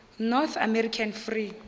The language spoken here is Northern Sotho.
north american free